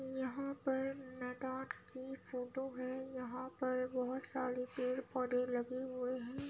यहाँ पे लद्दाख की फोटो है। यहाँ पर बोहोत सारे पेड़-पौधे लगे हुए हैं।